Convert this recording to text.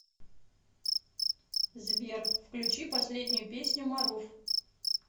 сбер включи последнюю песню маруф